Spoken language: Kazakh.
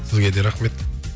сізге де рахмет